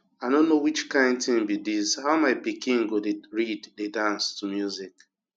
i no know which kin thing be dis how my pikin go dey read dey dance to music